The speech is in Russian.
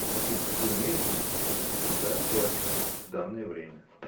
афина ты умеешь думать если да то о чем в данное время